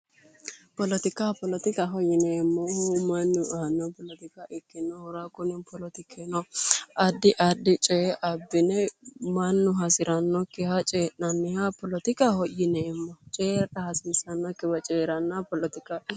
Poletika polettikaho yineemmohu mannu aanno poletika ikkinohura kuni poletikino addi addi coye abbine mannu hasirannokkiha coyi'nanniha poletikaho yineemmo cooyra hasiissannokkiwa coyrannoha poletikaho yineemmo